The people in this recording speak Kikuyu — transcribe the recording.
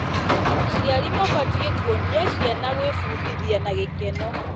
Aciari mabatiĩ kuonia ciana gwĩbundithia na gĩkeno.